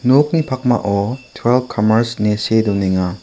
nokni pakmao tuelp kamers ine see donenga.